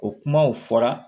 O kumaw fɔra